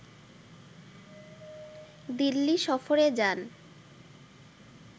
দিল্লি সফরে যান